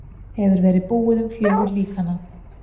Hefur verið búið um fjögur líkanna.